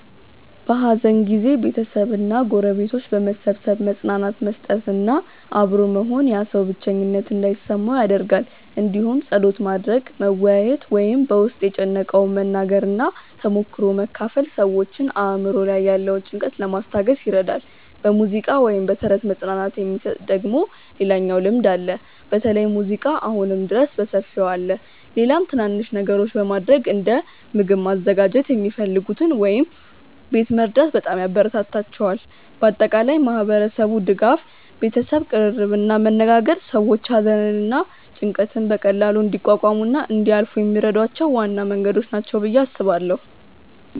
በሐዘን ጊዜ ቤተሰብ እና ጎረቤቶች በመሰብሰብ መጽናናት መስጠት እና አብሮ መሆን ያ ሰው ብቸኝነት እንዳይሰማው ይደረጋል እንዲሁም ጸሎት ማድረግ፣ መወያየት ወይም በ ውስጥን የጨነቀውን መናገር እና ተሞክሮ መካፈል ሰዎችን አእምሮ ላይ ያለውን ጭንቀት ለማስታገስ ይረዳል። በሙዚቃ ወይም በተረት መጽናናት የሚሰጥ ደግሞ ሌላኛው ልምድ አለ በተለይ ሙዚቃ አሁንም ድረስ በሰፊው አለ። ሌላም ትናናንሽ ነገሮች በማረግ እንደ ምግብ ማዘጋጀት የሚፈልጉትን ወይም ቤት መርዳት በጣም ያበራታታቸዋል። በአጠቃላይ ማህበረሰቡ ድጋፍ፣ ቤተሰብ ቅርርብ እና መነጋገር ሰዎች ሐዘንን እና ጭንቀትን በቀላሉ እንዲቋቋሙ እና እንዲያልፏ የሚረዷቸው ዋና መንገዶች ናቸው ብዬ አስባለው።